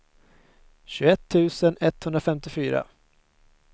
tjugoett tusen etthundrafemtiofyra